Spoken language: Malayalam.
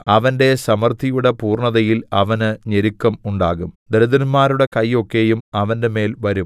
അവന്റെ സമൃദ്ധിയുടെ പൂർണ്ണതയിൽ അവന് ഞെരുക്കം ഉണ്ടാകും ദരിദ്രന്മാരുടെ കൈ ഒക്കെയും അവന്റെമേൽ വരും